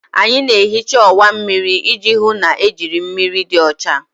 Anyị na-ehicha ọwa mmiri iji hụ na ejiri mmiri dị ọcha.